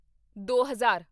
ਦੋ ਹਜ਼ਾਰ